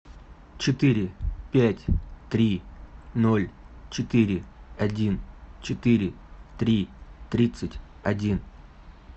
четыре пять три ноль четыре один четыре три тридцать один